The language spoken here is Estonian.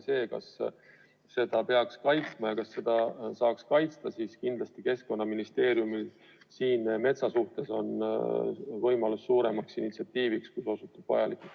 Kas metsa peaks kaitsma ja kas seda saab kaitsta – siin kindlasti on Keskkonnaministeeriumil võimalus üles näidata suuremat initsiatiivi, kui see osutub vajalikuks.